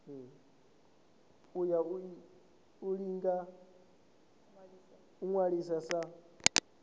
ya u ḓi ṅwalisa sa